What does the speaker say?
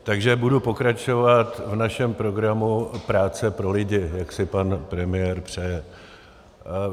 Takže budu pokračovat v našem programu práce pro lidi, jak si pan premiér přeje.